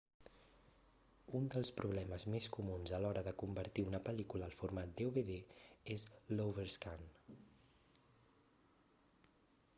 un dels problemes més comuns a l'hora de convertir una pel·lícula al format dvd és l'overscan